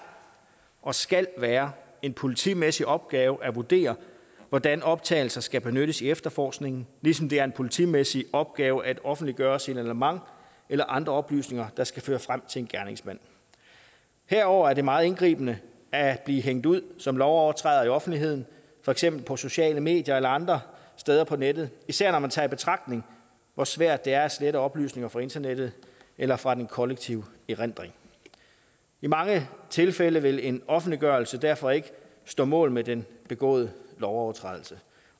og skal være en politimæssig opgave at vurdere hvordan optagelser skal benyttes i efterforskningen ligesom det er en politimæssig opgave at offentliggøre signalement eller andre oplysninger der skal føre frem til en gerningsmand herudover er det meget indgribende at blive hængt ud som lovovertræder i offentligheden for eksempel på sociale medier eller andre steder på nettet især når man tager i betragtning hvor svært det er at slette oplysninger fra internettet eller fra den kollektive erindring i mange tilfælde vil en offentliggørelse derfor ikke stå mål med den begåede lovovertrædelse